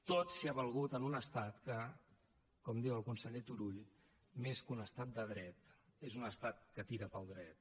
tot s’hi ha valgut en un estat que com diu el conseller turull més que un estat de dret és un estat que tira pel dret